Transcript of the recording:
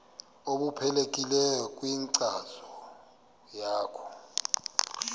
obuqhelekileyo kwinkcazo yakho